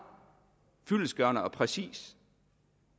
fyldestgørende og præcist